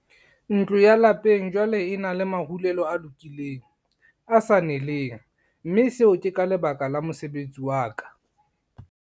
"Ntlo ya lapeng jwale e na le marulelo a lokileng, a sa neleng, mme seo ke ka lebaka la mosebetsi wa ka."